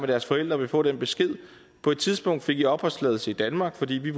deres forældre vil få den besked på et tidspunkt fik i opholdstilladelse i danmark fordi vi